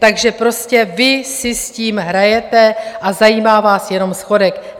Takže prostě vy si s tím hrajete a zajímá vás jenom schodek.